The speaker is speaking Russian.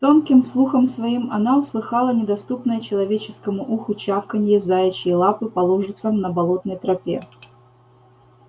тонким слухом своим она услыхала недоступное человеческому слуху чавканье заячьей лапы по лужицам на болотной тропе